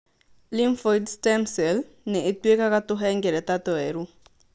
Lymphoid stem cell nĩ ĩtuĩkaga tũhengereta tũerũ.